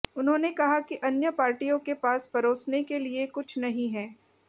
उन्होंने कहा कि अन्य पार्टियों के पास परोसने के लिए कुछ नहीं है